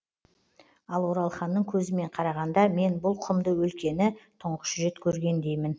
ал оралханның көзімен қарағанда мен бұл құмды өлкені тұңғыш рет көргендеймін